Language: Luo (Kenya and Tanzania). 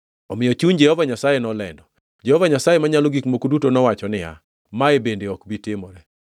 Omiyo chuny Jehova Nyasaye nolendo. Jehova Nyasaye Manyalo Gik Moko Duto nowacho niya, “Mae bende ok bi timore.”